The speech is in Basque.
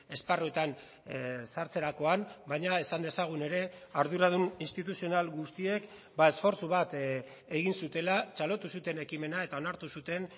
esparruetan sartzerakoan baina esan dezagun ere arduradun instituzional guztiek esfortzu bat egin zutela txalotu zuten ekimena eta onartu zuten